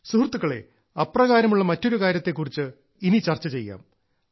സുഹൃത്തുക്കളേ അപ്രകാരമുള്ള മറ്റൊരു കാര്യത്തെ കുറിച്ച് ഇനി ചർച്ച ചെയ്യാം